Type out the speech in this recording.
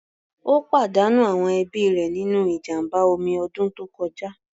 Ó pàdánù àwọn ẹbí rẹ̀ nínú ìjàmbá omi ọdún tó kọjá.